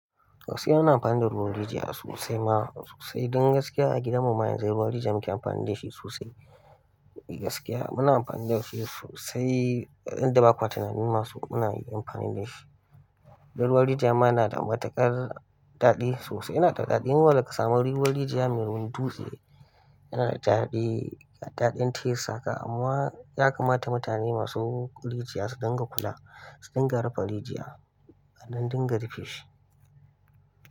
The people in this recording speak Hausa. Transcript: Gaskiya ina amfani da ruwan rijiya sosai ma sosai. Don gaskiya a gidan mu ma yanzu ruwan rijiya muke amfani da shi sosai. Gaskiya muna amfani da shi sosai, yanda bakwa tunanin ma so muna amfani da shi. Dan ruwan rijiya ma yana da matuƙar daɗi sosai. Yana da daɗin wanda ka samu ruwan rijiya mai wurin dutse, yana da daɗi, daɗin taste haka. Amma ya kamata mutane masu rijiya su dinga kula, su dinga rufe rijiya, a dan dinga rufe shi.